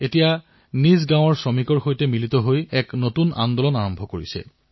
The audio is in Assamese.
এইদৰে কোৱাও হয় লেট থে গেমছ বেগিন তেন্তে আহক খেল আৰম্ভ কৰো